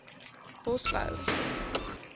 bosbou